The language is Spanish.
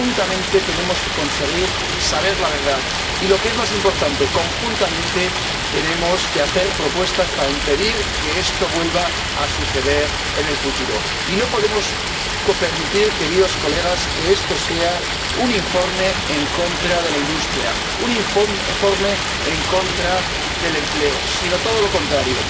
Conjuntamente, tenemos que conseguir saber la verdad y, lo que es más importante, conjuntamente tenemos que hacer propuestas para impedir que esto vuelva a suceder en el futuro. Y no podemos permitir, queridos colegas, que esto sea un informe en contra de la industria, un informe en contra del empleo, sino todo lo contrario.